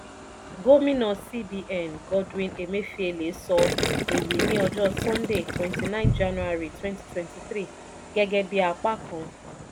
gómìnà cs] cbn godwin emefiele sọ èyí ní ọjọ́ sunday twenty nine january twenty twenty three gẹ́gẹ́ bí apá kan